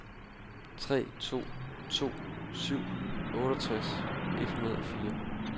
tre to to syv otteogtres et hundrede og fire